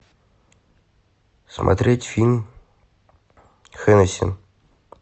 смотреть фильм хеннесси